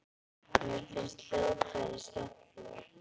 Mér finnst hljóðfræði skemmtileg.